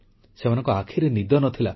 ସେମାନଙ୍କ ଆଖିରେ ନିଦ ନ ଥିଲା